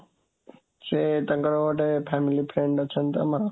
ସେ ତାଙ୍କର ଗୋଟେ family friend ଅଛନ୍ତି ତ ଆମର